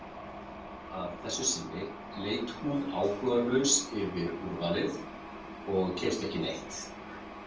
Að þessu sinni leit hún áhugalaus yfir úrvalið og keypti ekki neitt.